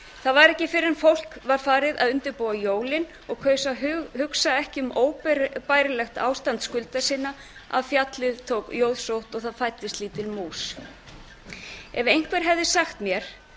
það var ekki fyrr en fólk var farið að undirbúa jólin og kaus að hugsa ekki um óbærilegt ástand skulda sinna að fjallið tók jóðsótt og það fæddist lítil mús ef einhver hefði sagt mér